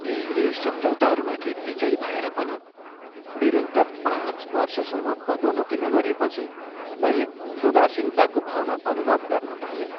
धेरै सम्झौताहरूमाथि बिजयी भएर पनि निरन्तर पाँच वर्षसम्म पदोन्नती नगरिएपछि मैले उदासीनताको भावना अनुभव गर्न थालेँ।